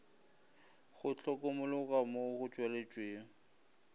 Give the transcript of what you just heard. go hlokomologwa mo go tšweletšego